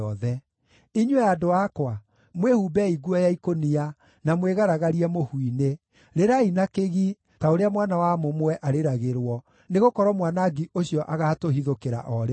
Inyuĩ andũ akwa, mwĩhumbei nguo ya ikũnia, na mwĩgaragarie mũhu-inĩ; rĩrai na kĩgi, ta ũrĩa mwana wa mũmwe arĩragĩrwo, nĩgũkorwo mwanangi ũcio agaatũhithũkĩra o rĩmwe.